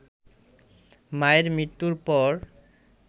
মায়ের মৃত্যুর পর